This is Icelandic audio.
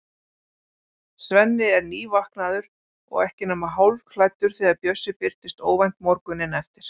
Svenni er nývaknaður og ekki nema hálfklæddur þegar Bjössi birtist óvænt morguninn eftir.